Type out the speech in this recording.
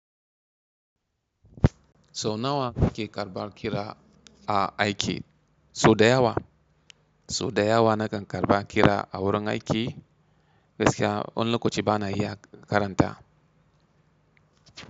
Sau nawa kuke karɓar kira a aiki? Sau da yawa. Sau da yawa nakan karɓa kira a wurin aiki, gaskiya, wani lokacin bana iya karanta.